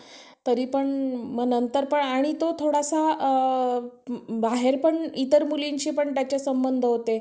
तरीपण आणि नंतर पण आणि तो थोडासा बाहेर पण इतर मुलींशी पण त्याचे संबंध होते.